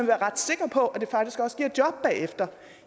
være ret sikker på at det faktisk også giver et job bagefter